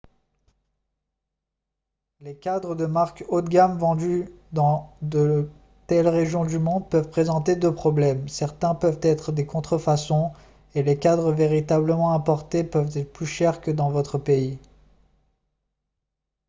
les cadres de marque haut de gamme vendus dans de telles régions du monde peuvent présenter deux problèmes certains peuvent être des contrefaçons et les cadres véritablement importés peuvent être plus chers que dans votre pays